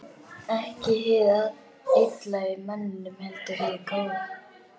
Ekki hið illa í manninum, heldur hið góða.